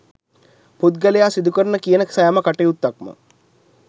පුද්ගලයා සිදුකරන කියන සෑම කටයුත්තක්ම